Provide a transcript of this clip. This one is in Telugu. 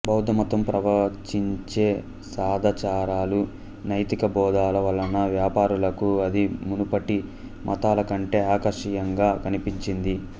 బౌద్ధమతం ప్రవచించే సదాచారాలు నైతిక బోధల వలన వ్యాపారులకు అది మునుపటి మతాల కంటే ఆకర్షణీయంగా కనిపించింది